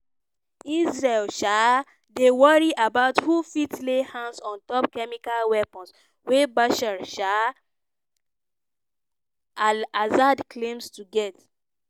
israel um dey worry about who fit lay hands ontop chemical weapons wey bashar um al-assad claim to get.